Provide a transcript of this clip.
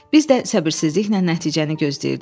Biz də səbirsizliklə nəticəni gözləyirdik.